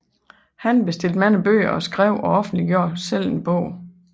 Han bestilte mange bøger og skrev og offentliggjorde selv en bog